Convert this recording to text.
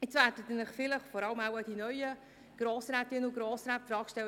Jetzt werden sich wohl vor allem die neuen Grossrätinnen und Grossräte die Frage stellen: